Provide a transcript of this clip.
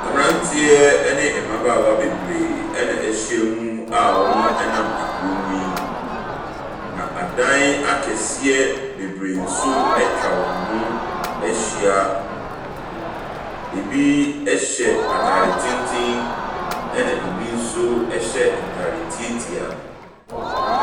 Mmeranteɛ ne mmabaawa bebree na wɔahyia mi a wɔnam kurom yi. Na adan akɛseɛ bebree nso atwa wɔn ho ahyia. Ɛbi hyɛ atadeɛ tenten, ɛna ɛbi nso hyɛ ntade tiatia.